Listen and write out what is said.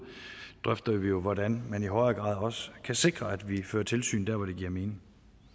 drøfter vi jo hvordan man i højere grad også kan sikre at vi fører tilsyn der hvor det giver mening